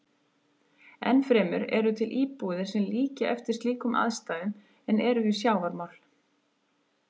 Enn fremur eru til íbúðir sem líkja eftir slíkum aðstæðum en eru við sjávarmál.